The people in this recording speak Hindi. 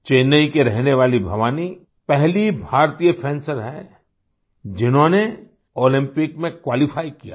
चेन्नई की रहने वाली भवानी पहली भारतीय फेंसर हैं जिन्होंने ओलम्पिक में क्वालिफाई किया है